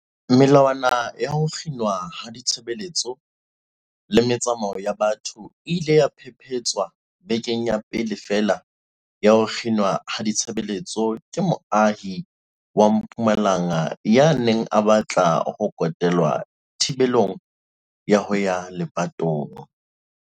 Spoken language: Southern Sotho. Melawana ya ho kginwa ha ditshebeletso le metsamao ya batho e ile ya phephetswa bekeng ya pele feela ya ho kginwa ha ditshebeletso ke moahi wa Mpumalanga ya neng a batla ho kotelwa thibelong ya ho ya lepatong.